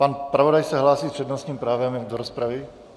Pan zpravodaj se hlásí s přednostním právem do rozpravy?